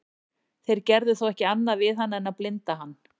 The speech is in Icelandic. þeir gerðu þó ekki annað við hann en að blinda hann